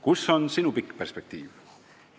Kus on sinu pikk perspektiiv?